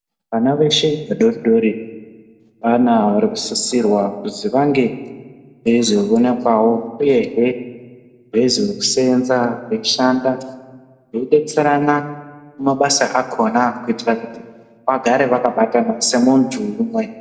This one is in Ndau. Vana veshe vadoridori vana varikusisirwa kuzi vange veizoona kwawo. Uyehe veizoseenza vechishanda veidetserana kumabasa akona kuitira kuti vagare vakabatana semuntu umwe .